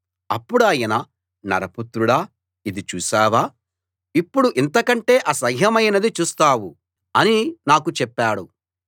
అప్పుడాయన నరపుత్రుడా ఇది చూశావా ఇప్పుడు ఇంతకంటే అసహ్యమైనది చూస్తావు అని నాకు చెప్పాడు